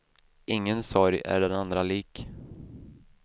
Ingen sorg är den andra lik.